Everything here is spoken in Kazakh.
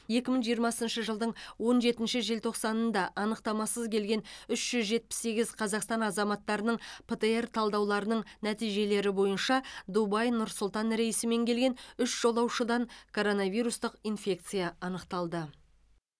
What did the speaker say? екі мың жиырмасыншы жылдың он жетінші желтоқсанында анықтамасыз келген үш жүз жетпіс сегіз қазақстан азаматтарының птр талдауларының нәтижелері бойынша дубай нұр сұлтан рейсімен келген үш жолаушыдан коронавирустық инфекция анықталды